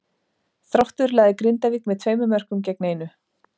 Þróttur lagði Grindavík með tveimur mörkum gegn einu.